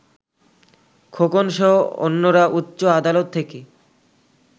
খোকনসহ অন্যরা উচ্চ আদালত থেকে